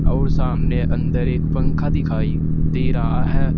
और सामने अंदर एक पंखा दिखाई दे रहा है।